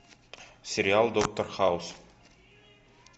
сериал доктор хаус